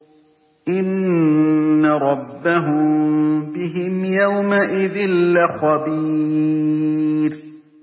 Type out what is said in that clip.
إِنَّ رَبَّهُم بِهِمْ يَوْمَئِذٍ لَّخَبِيرٌ